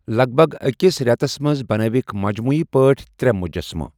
لَگ بَگ أکِس رٮ۪تَس منٛز بنٲوِکھ مجموٗعی پٲٹھۍ ترٛےٚ مجسمہٕ۔